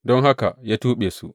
Don haka ya tuɓe su.